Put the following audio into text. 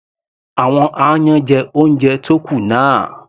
Àwọn aáyán jẹ oúnjẹ tó kù náà.